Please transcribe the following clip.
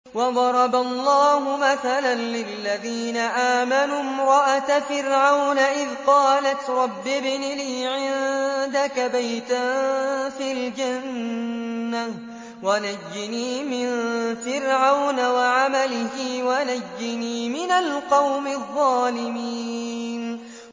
وَضَرَبَ اللَّهُ مَثَلًا لِّلَّذِينَ آمَنُوا امْرَأَتَ فِرْعَوْنَ إِذْ قَالَتْ رَبِّ ابْنِ لِي عِندَكَ بَيْتًا فِي الْجَنَّةِ وَنَجِّنِي مِن فِرْعَوْنَ وَعَمَلِهِ وَنَجِّنِي مِنَ الْقَوْمِ الظَّالِمِينَ